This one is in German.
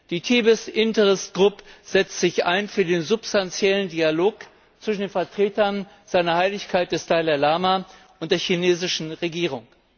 Die Tibet interest group setzt sich ein für den substanziellen Dialog zwischen den Vertretern seiner Heiligkeit, des Dalai Lama, und der chinesischen Regierung.